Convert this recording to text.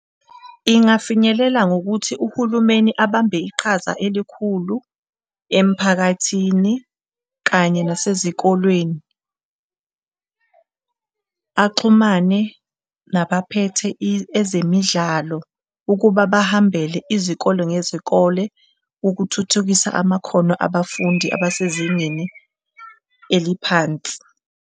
Ingafinyelela ngokuthi uhulumeni abambe iqhaza elikhulu emphakathini kanye nasezikolweni axhumane nabaphethe ezemidlalo ukuba bahambele izikole ngezikole ukuthuthukisa amakhono abafundi abasezingeni eliphansi.